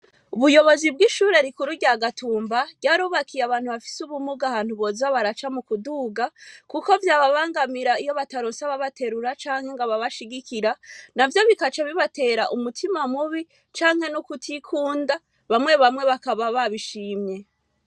Ubuyobozi bw'ishure rikuru rya gatumba ryarubakiye abantu bafise ubumuga ahantu boza baraca mu kuduga, kuko vyababangamira iyo bataronsaba baterura canke ngo babashigikira na vyo bikaca bibatera umutima mubi canke n' ukutikunda bamwe bamwe bakaba babishimye.